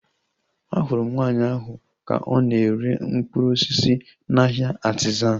Ahụrụ m nwaanyị ahu ka ọ na-ere mkpụrụ osisi n'ahia Artizan